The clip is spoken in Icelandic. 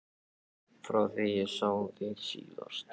Frá því ég sá þig síðast.